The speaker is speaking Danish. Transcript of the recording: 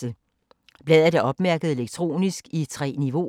Bladet er opmærket elektronisk i 3 niveauer.